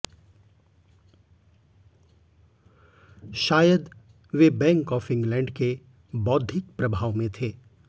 शायद वे bank of England के बौद्घिक प्रभाव में थे